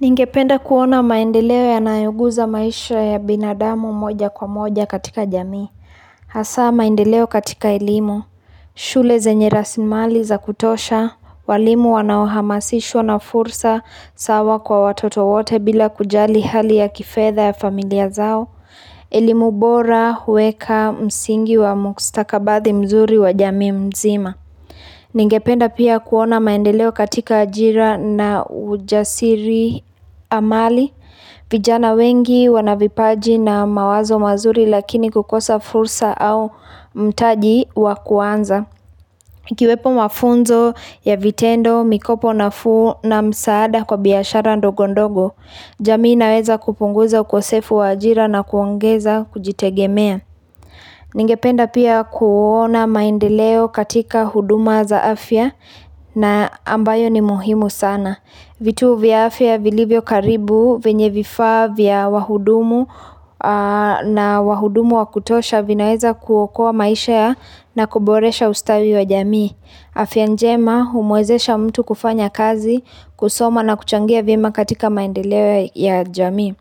Ningependa kuona maendeleo yanayoguza maisha ya binadamu mmoja kwa moja katika jamii. Hasa maendeleo katika elimu, shule zenye rasimali za kutosha, walimu wanaohamasishwa na fursa sawa kwa watoto wote bila kujali hali ya kifedha ya familia zao, elimu bora, huweka, msingi wa mkustakabathi mzuri wa jamii mzima. Ningependa pia kuona maendeleo katika ajira na ujasiri amali vijana wengi wanavipaji na mawazo mazuri lakini kukosa fursa au mtaji wakuanza Kiwepo mafunzo ya vitendo, mikopo nafuu na msaada kwa biashara ndogondogo jamii naweza kupunguza ukosefu wa ajira na kuongeza kujitegemea Ningependa pia kuona maendeleo katika huduma za afya na ambayo ni muhimu sana vitu vya afya vilivyo karibu venye vifaa vya wahudumu na wahudumu wakutosha vinaweza kuokoa maisha ya na kuboresha ustawi wa jamii afya njema humuezesha mtu kufanya kazi kusoma na kuchangia vyema katika maendeleo ya jamii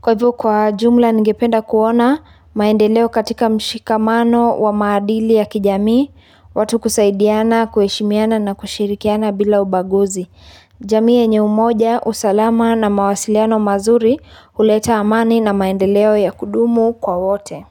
Kwa hivyo kwa jumla ningependa kuona maendeleo katika mshikamano wa maadili ya kijamii watu kusaidiana kueshimiana na kushirikiana bila ubaguzi jamii yenye umoja usalama na mawasiliano mazuri huleta amani na maendeleo ya kudumu kwa wote.